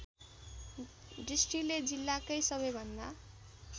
दृष्टिले जिल्लाकै सबैभन्दा